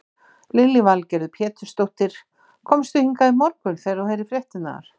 Lillý Valgerður Pétursdóttir: Komstu hingað í morgun þegar þú heyrðir fréttirnar?